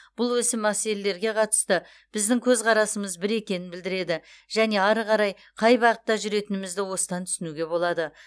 бұл осы мәселелерге қатысты біздің көзқарасымыз бір екенін білдіреді және ары қарай қай бағытта жүретінімізді осыдан түсінуге болады